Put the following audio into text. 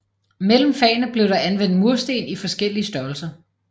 Mellem fagene blev der anvendt mursten i forskellige størrelser